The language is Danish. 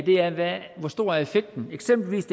hvor stor effekten er eksempelvis